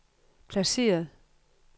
placeret